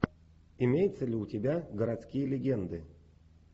имеется ли у тебя городские легенды